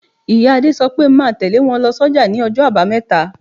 Ìyá Adé sọ pé máa tẹle wọn lọ s'oja ní ọjọ́ abameta.